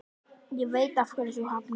Ég veit af hverju þú hafnaðir mér.